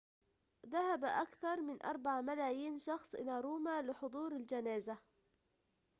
ذهب أكثر من 4 ملايين شخص إلى روما لحضور الجنازة